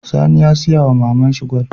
Sani ya siya wama maman shi gwal